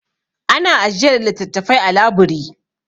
Ana ajiyar littattafai a labiri.